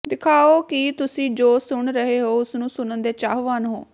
ਦਿਖਾਓ ਕਿ ਤੁਸੀਂ ਜੋ ਸੁਣ ਰਹੇ ਹੋ ਉਸ ਨੂੰ ਸੁਣਨ ਦੇ ਚਾਹਵਾਨ ਹੋ